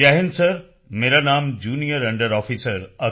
ਜੈ ਹਿੰਦ ਸਰ ਮੇਰਾ ਨਾਮ ਜੂਨੀਅਰ ਅੰਡਰ ਆਫਿਸਰ